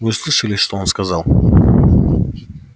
вы же слышали что он сказал